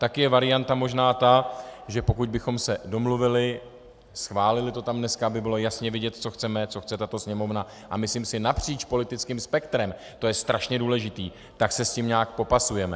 Taky je varianta možná ta, že pokud bychom se domluvili, schválili to tam dneska, aby bylo jasně vidět, co chceme, co chce tato Sněmovna, a myslím si napříč politickým spektrem, to je strašně důležité, tak se s tím nějak popasujeme.